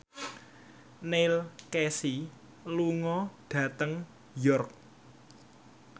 Neil Casey lunga dhateng York